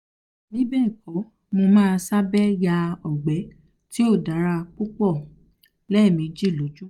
bibẹẹkọ mo ma um sabe ya ogbe um ti o dara pupọ lẹmeji lojoojumọ